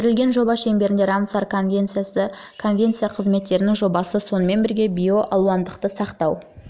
берілген жоба шеңберінде рамсар конвенциясы мен конвенцисы қызметтерінің жобасы сонымен бірге биоалуандылықты сақтау туралы бірқатар норма стандарт және